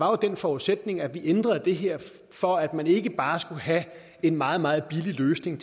var den forudsætning at vi ændrede det her for at man ikke bare skulle have en meget meget billig løsning